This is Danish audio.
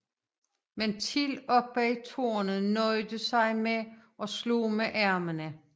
Men Till oppe i tårnet nøjede sig med at slå med armene